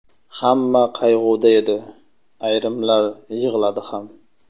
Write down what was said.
Hamma qayg‘uda edi, ayrimlar yig‘ladi ham.